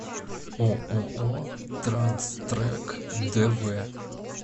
ооо транс трек дв